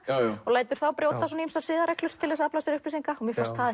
og lætur þá brjóta ýmsar siðareglur til þess að afla sér upplýsinga og mér fannst það